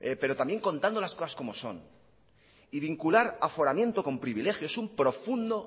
pero también contando las cosas como son y vincular aforamiento con privilegio es un profundo